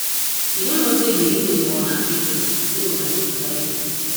you no know say the reason for una failure be say una dey divided